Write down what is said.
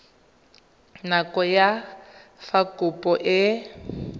nako ya fa kopo e